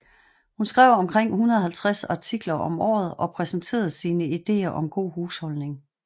Hun skrev omkring 150 artikler om året og præsenterede sine ideer om god husholdning